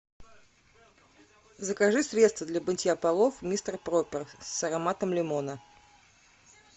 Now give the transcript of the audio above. закажи средство для мытья полов мистер пропер с ароматом лимона